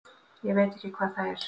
Ég veit ekki hvað það er.